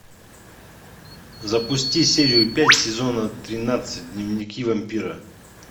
запусти серию пять сезона тринадцать дневники вампира